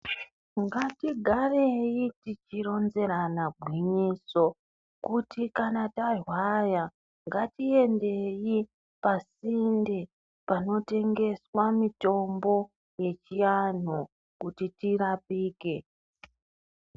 Ngatigarei tichironzerana gwinyiso kuti kana tarwara ngatiendeyi pasinde panotengeswa mitombo yechiantu kuti tirapike.